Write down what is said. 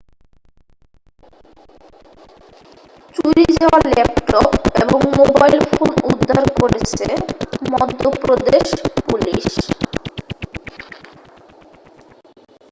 চুরি যাওয়া ল্যাপটপ এবং মোবাইল ফোন উদ্ধার করেছে মধ্যপ্রদেশ পুলিশ